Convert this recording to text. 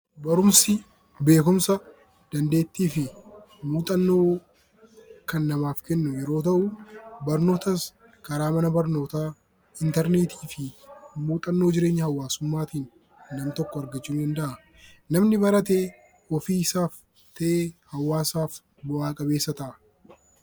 Barumsi beekumsa, dandeettii fi muuxannoo kan namaaf kennu yeroo ta'uu, Barnootas karaa mana barnootaa, Interneetii fi muuxannoo jireenya hawaasummaa tiin nam tokko argachuu danda'a. Namni barate ofii isaaf tahe hawaasaaf bu'a qabeessa ta'a.